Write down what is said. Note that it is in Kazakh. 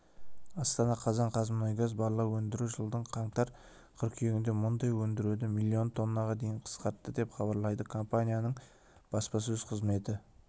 астана қазан қаз қазмұнайгаз барлау өндіру жылдың қаңтар-қыркүйегінде мұнай өндіруді миллион тоннаға дейін қысқартты деп хабарлайды компанияның баспасөз қызметі